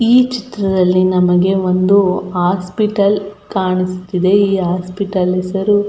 ಈ ಚಿತ್ರದಲ್ಲಿ ನಮಗೆ ಒಂದು ಹಾಸ್ಪಿಟಲ್ ಕಾಣುತ್ತಿದೆ ಈ ಹಾಸ್ಪಿಟಲ್ ಹೆಸರು.